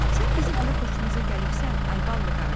“Sən bizim elə xoşumuza gəlibsən, ay ballı qarı.